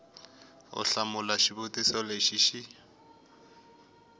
u hlamula xivutiso lexi xi